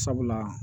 Sabula